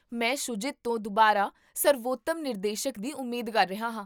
ਮੈਂ ਸ਼ੂਜੀਤ ਤੋਂ ਦੁਬਾਰਾ ਸਰਵੋਤਮ ਨਿਰਦੇਸ਼ਕ ਦੀ ਉਮੀਦ ਕਰ ਰਿਹਾ ਹਾਂ